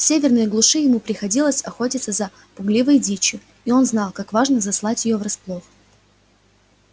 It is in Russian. в северной глуши ему приходилось охотиться за пугливой дичью и он знал как важно заслать её врасплох